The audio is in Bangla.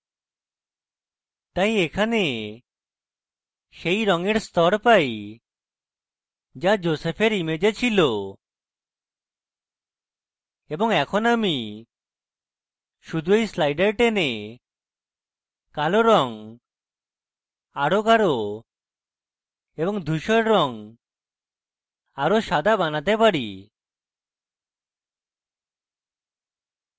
তাই এখানে সেই রঙের so পাই so joseph image ছিল এবং এখন আমি শুধু এই sliders টেনে কালো রঙ আরো গাঢ় এবং ধুসর রঙ আরো সাদা বানাতে পারি